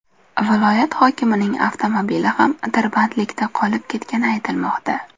Viloyat hokimining avtomobili ham tirbandlikda qolib ketgani aytilmoqda.